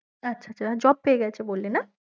আচ্ছা আচ্ছা job পেয়ে গেছে বললি না